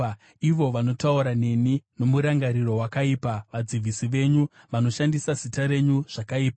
Ivo vanotaura nemi nomurangariro wakaipa; vadzivisi venyu vanoshandisa zita renyu zvakaipa.